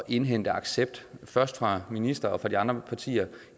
indhente accept fra ministeren og de andre partier